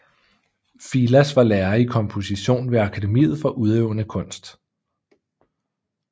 Filas var lærer i komposition ved Akademiet for Udøvende Kunst